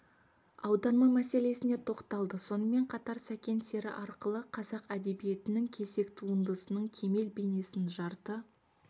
аударма мәселесіне тоқталды сонымен қатар сәкен сері арқылы қазақ әдебиетінің кесек туындысының кемел бейнесін жарты